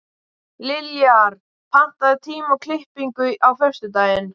Liljar, pantaðu tíma í klippingu á föstudaginn.